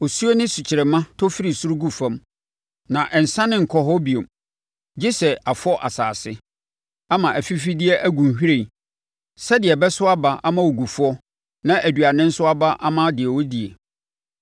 Osuo ne sukyerɛmma tɔ firi soro gu fam, na ɛnsane nkɔ hɔ bio gye sɛ afɔ asase ama afifideɛ ɛgu nhwiren, sɛdeɛ ɛbɛso aba ama ogufoɔ na aduane nso aba ama deɛ ɔdie.